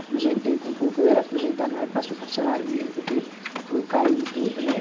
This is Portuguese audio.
Aposentei com pouco, eu era aposentada, mas passou para salário mínimo, porque foi caindo tudo, né?